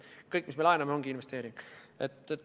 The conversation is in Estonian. Kõik, mis me laename, ongi investeering.